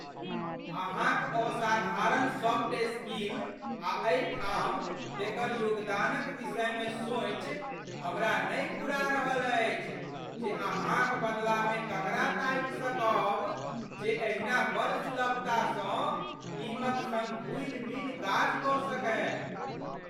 अहाँक असाधारण soft skill आ एहिठाम तेकर योगदानक विषयमे सोचि, हमरा नहि फुरा रहल अछि जे अहाँक बदलामे ककरा ताकि सकब जे एहिना बड़ सुलभतासँ टीमक सङ्ग घुलिमिलि काज कऽ सकय।